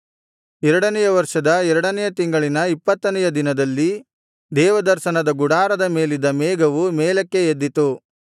ಎರಡನೆಯ ವರ್ಷದ ಎರಡನೆಯ ತಿಂಗಳಿನ ಇಪ್ಪತ್ತನೆಯ ದಿನದಲ್ಲಿ ದೇವದರ್ಶನದ ಗುಡಾರದ ಮೇಲಿದ್ದ ಮೇಘವು ಮೇಲಕ್ಕೆ ಎದ್ದಿತು